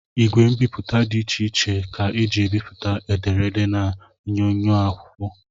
Igwe mbipụta dị iche iche ka e ji ebipụta ederede na onyoonyo n'akwụkwọ